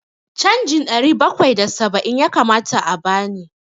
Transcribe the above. Canjin ɗari bakwai da saba'in ya kamata a bani.